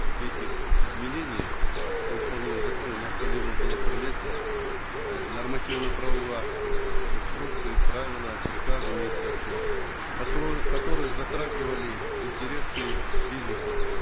этих изменений во исполнение закона необходимо было принять э нормативно правовые акты инструкции правила приказы министерства которые затрагивали интересы бизнеса